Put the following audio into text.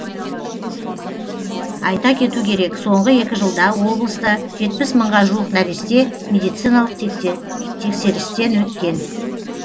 айта кету керек соңғы екі жылда облыста жетпіс мыңға жуық нәресте медициналық тексерістен өткен